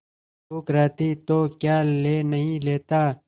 भूख रहती तो क्या ले नहीं लेता